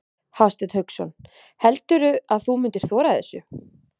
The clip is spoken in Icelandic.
Hafsteinn Hauksson: Heldurðu að þú myndir þora þessu?